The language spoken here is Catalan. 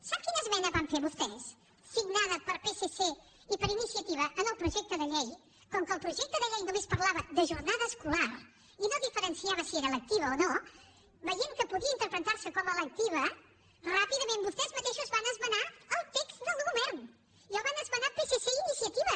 sap quina esmena van fer vostès signada per psc i per iniciativa en el projecte de llei com que el projecte de llei només parlava de jornada escolar i no diferenciava si era lectiva o no veient que podia interpretar se com a lectiva ràpidament vostès mateixos van esmenar el text del govern i el van esmenar psc i iniciativa